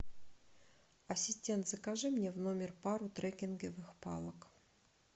ассистент закажи мне в номер пару треккинговых палок